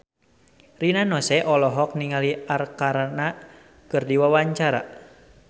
Rina Nose olohok ningali Arkarna keur diwawancara